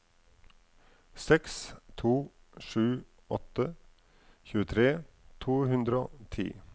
seks to sju åtte tjuetre to hundre og ti